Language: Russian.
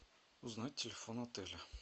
узнать телефон отеля